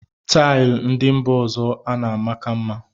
Taịl ndị mba ọzọ ana amaka mma